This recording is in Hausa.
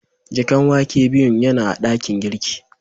Jakan wake biyun yana a dakin girki.